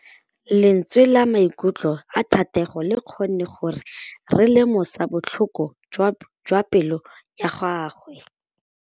Lentswe la maikutlo a Thategô le kgonne gore re lemosa botlhoko jwa pelô ya gagwe.